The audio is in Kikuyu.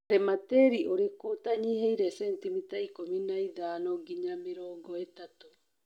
Rĩma tĩri ũriku ũtanyihĩire centimita ikũmi na ithano nginya mĩrongo ĩtatũ.